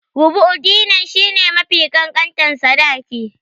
Rubu'u Dinar shi ne mafi ƙanƙantar sadaki.